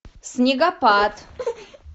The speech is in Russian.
снегопад